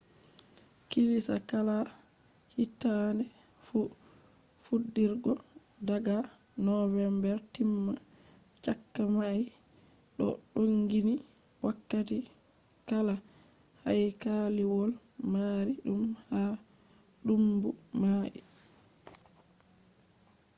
burna haykaliwol doo mari kilisa kala hittade fu fudirgo daga november timma chakka may do donginni wakkati kala haykaliwol marii dum ha duumbu mai